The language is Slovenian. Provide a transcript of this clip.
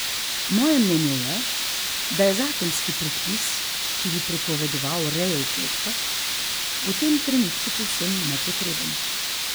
Moje mnenje je, da je zakonski predpis, ki bi prepovedoval rejo v kletkah, v tem trenutku povsem nepotreben.